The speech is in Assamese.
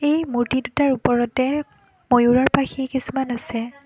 এই মূৰ্ত্তি দুটাৰ ওপৰতে ময়ূৰৰ পাখি কিছুমান আছে।